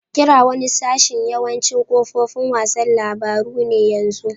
Kira wani sashin yawancin kafofin wasan labaru ne yanzu.